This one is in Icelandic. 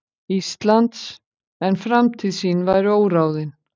Íslands, en framtíð sín væri óráðin.